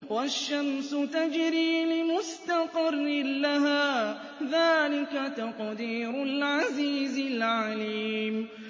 وَالشَّمْسُ تَجْرِي لِمُسْتَقَرٍّ لَّهَا ۚ ذَٰلِكَ تَقْدِيرُ الْعَزِيزِ الْعَلِيمِ